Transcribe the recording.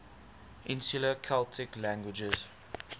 insular celtic languages